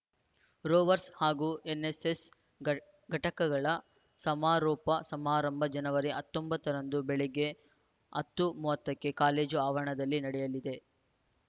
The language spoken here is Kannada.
ರೋವರ್‍ಸ್ ಹಾಗೂ ಎನ್‌ಎಸ್‌ಎಸ್‌ ಘಟಕಗಳ ಸಮಾರೋಪ ಸಮಾರಂಭ ಜನವರಿ ಹತ್ತೊಂಬತ್ತರಂದು ಬೆಳಗ್ಗೆ ಹತ್ತು ಮೂವತ್ತ ಕ್ಕೆ ಕಾಲೇಜು ಆವರಣದಲ್ಲಿ ನಡೆಯಲಿದೆ